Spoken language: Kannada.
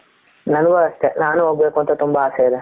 ನನಗು ಅಸ್ಟೇ ನಾನು ಹೋಗ್ಬೇಕು ಅಂತ ತುಂಬಾ ಅಸೆ ಇದೆ